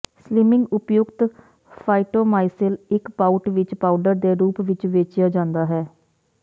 slimming ਉਪਯੁਕਤ ਫਾਈਟੋਮਾਸੀਲ ਇੱਕ ਪਾਊਟ ਵਿੱਚ ਪਾਊਡਰ ਦੇ ਰੂਪ ਵਿੱਚ ਵੇਚਿਆ ਜਾਂਦਾ ਹੈ